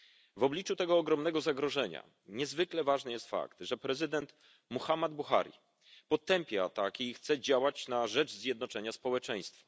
W obliczu tego ogromnego zagrożenia niezwykle ważny jest fakt, że prezydent Muhammadu Buhari potępia ataki i chce działać na rzecz zjednoczenia społeczeństwa.